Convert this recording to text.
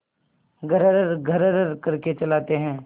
घर्रघर्र करके चलाते हैं